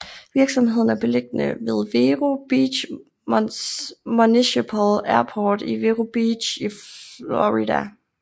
Virksomheden er beliggende ved Vero Beach Municipal Airport i Vero Beach i Florida